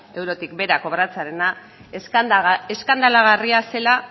eurotik behera kobratzearena eskandalagarria zela